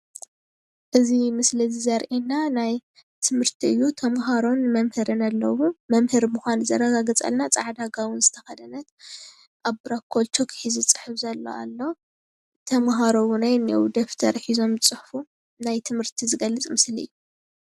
እዚ ምስሊ እዚ ዘርእየና ናይ ትምህርቲ እዩ ተምሃሮን መምህርን ኣለዉዎ። መምህር ምኳኑ ዘረጋግፀልና ፃዕዳ ጋቦን ዝተከደነት ኣብ ቡላክቦርድ ቾክ ሒዙ ዝፅሕፍ ዘሎ ኣሎ። ተምሃሮ እውን እኒሀው ደፍተር ሒዞም ዝፅሕፉ ናይ ትምህርቲ ዝገልፅ ምስሊ እዩ፡፡